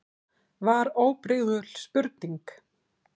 var óbrigðul spurning.